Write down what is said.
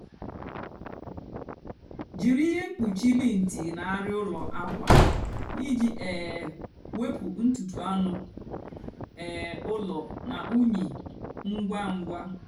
jírí íhè mkpúchi lint nà arịa úló ákwa íjì um wepụ ntutu ánú um úló nà únyì ngwa ngwa.